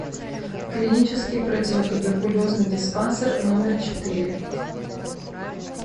клинический противотуберкулезный диспансер номер четыре